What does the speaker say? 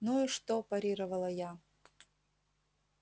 ну и что парировала я